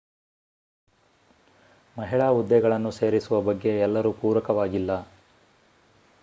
ಮಹಿಳಾ ಹುದ್ದೆಗಳನ್ನು ಸೇರಿಸುವ ಬಗ್ಗೆ ಎಲ್ಲರೂ ಪೂರಕವಾಗಿಲ್ಲ